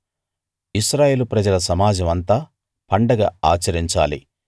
ఇశ్రాయేలు ప్రజల సమాజం అంతా పండగ ఆచరించాలి